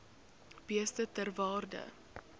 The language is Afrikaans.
beeste ter waarde